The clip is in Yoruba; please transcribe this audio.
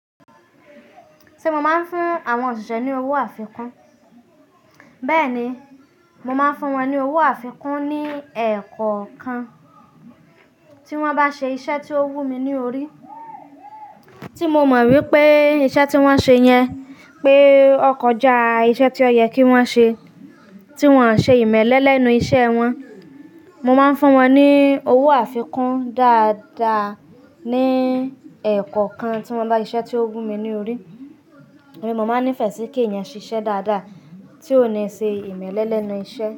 Se mo máa ń fún àwọn òṣìṣẹ́ ní owó àfikún. Bẹ́ẹ̀ni, mo máa ń fún wọn ní owó àfikún ní ẹ̀kọ̀ kan, tí wọ́n bá ṣe iṣẹ́ tí ó wù mí ní orí. Tí mo mọ̀ wípé iṣẹ́ tí wón ṣe yẹn pé ọkọ̀ jẹ́ iṣẹ́ tí ó yẹ kí wón ṣe, tí wón ṣe ìmẹ́lẹ́ lẹ́nu iṣẹ́ wọn. Mo máa ń fún wọn ní owó àfikún dáadáa ní ẹ̀kọ̀ kan tí wón bá ṣe iṣẹ́ tí ó wù mí ní orí. Èmi, mo máa ń nífẹ̀ẹ́ sí kí èèyàn ṣiṣẹ́ dáadáa tí ó ní ṣe ìmẹ́lẹ́ lẹ́nu iṣẹ́.